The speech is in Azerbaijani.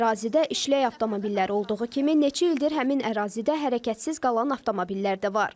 Ərazidə işlək avtomobillər olduğu kimi, neçə ildir həmin ərazidə hərəkətsiz qalan avtomobillər də var.